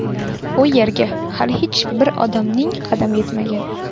U yerga hali hech bir odamning qadami yetmagan.